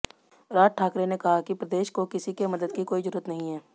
राज ठाकरे ने कहा कि प्रदेश को किसी के मदद की कोई जरूरत नहीं है